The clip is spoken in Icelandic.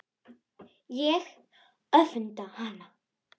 Ég öfunda hana.